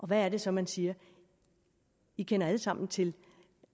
hvad er det så man siger vi kender alle sammen til